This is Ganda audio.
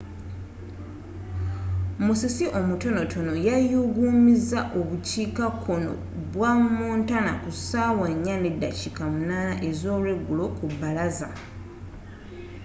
musisi omutonotono yayugumiza obukiika konno bwa montana ku saawa 10:08 ez'olwegulo ku balaza